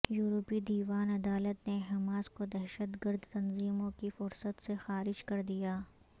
یورپی دیوان عدالت نے حماس کو دہشت گرد تنظیموں کی فہرست سے خارج کر دیا